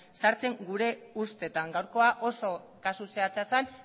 sartzen gure ustetan gaurkoa oso kasu zehatza zen